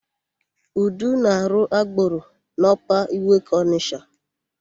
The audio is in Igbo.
Udo na-arụ agboro n'Ọpa Iweka Ọnịsha.